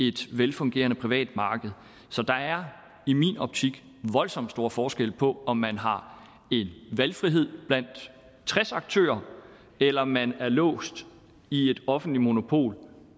et velfungerende privat marked så der er i min optik voldsom stor forskel på om man har en valgfrihed blandt tres aktører eller om man er låst i et offentligt monopol